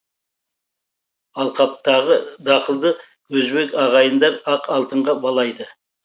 алқаптағы дақылды өзбек ағайындар ақ алтынға балайды